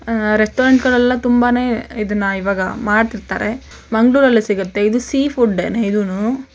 Restaurant ಗಳಲ್ಲೆಲ್ಲಾ ತುಂಬಾನೇ ಇದನ್ನ ಇವಾಗ ಮಾಡ್ತಿರ್ತಾರೆ ಮಂಗಳೂರಲ್ಲೇ ಸಿಗುತ್ತೆ ಇದು ಸೀ ಫುಡ್ಡೇನೇ ಇದೂನು.